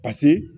Paseke